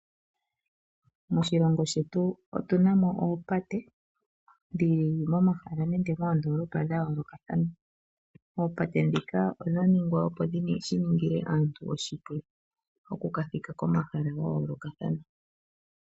Moshilongo shetu otu na mo oopate dhili momahala nenge moondolopa dha yoolokathana. Oopate ndhika odha ningwa opo shiningile aantu oshipu oku ka thika komahala ga yoolokathana.